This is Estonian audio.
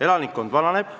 Elanikkond vananeb.